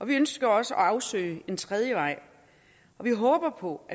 vi ønsker også at afsøge en tredje vej vi håber på